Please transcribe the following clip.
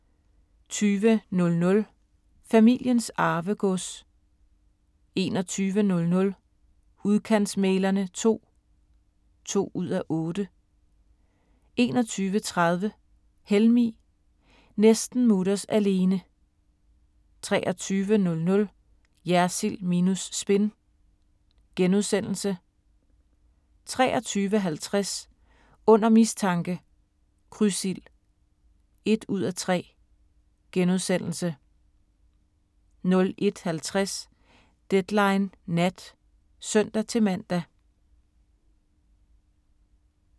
20:00: Familiens Arvegods 21:00: Udkantsmæglerne II (2:8) 21:30: HELMIG – næsten mutters alene 23:00: Jersild minus spin * 23:50: Under mistanke – Krydsild (1:3)* 01:50: Deadline Nat (søn-man)